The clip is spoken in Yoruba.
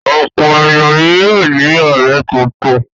Ọ̀pọ̀ ènìyàn ni yóò ní ọ̀rẹ́ tuntun.